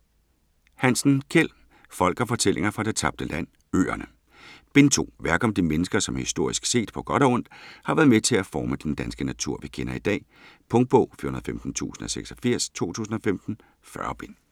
Hansen, Kjeld: Folk & fortællinger fra det tabte land: Øerne Bind 2. Værk om de mennesker, som historisk set, på godt og ondt, har været med til at forme den danske natur vi kender i dag. Punktbog 415086 2015. 40 bind.